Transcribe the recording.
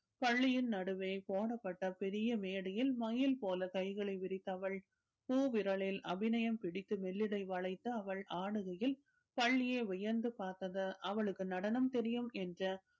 பள்ளியின் நடுவே போடப்பட்ட பெரிய மேடையில் மயில் போல கைகளை விரித்து அவள் பூ விரலில் அபிநயம் பிடித்து மெல்லிடை வளைத்து அவள் ஆடுகையில் பள்ளியே வியந்து பார்த்தது அவளுக்கு நடனம் தெரியும் என்று